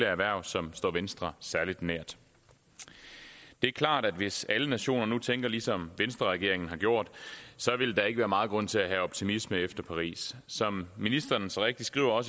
erhverv som står venstre særlig nær det er klart at hvis alle nationer nu tænker ligesom venstreregeringen har gjort så ville der ikke være meget grund til at nære optimisme efter paris som ministeren så rigtigt skriver